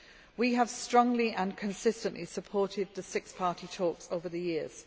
We have strongly and consistently supported the Six Party Talks over the years.